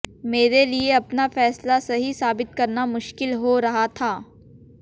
मेरे लिये अपना फैसला सही साबित करना मुश्किल हो रहा था